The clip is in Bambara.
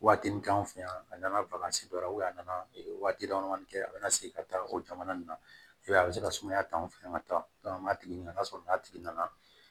Waatinin kɛ an fɛ yan a nana dɔ la a nana waati dama damanin kɛ a bɛna segin ka taa o jamana nin na i b'a ye a bɛ se ka sumaya ta anw fɛ yan ka taa an b'a tigi ɲininka sɔrɔ n'a tigi nana